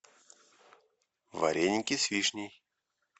вареники с вишней